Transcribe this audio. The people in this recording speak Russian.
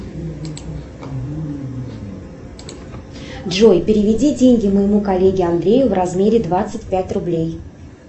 джой переведи деньги моему коллеге андрею в размере двадцать пять рублей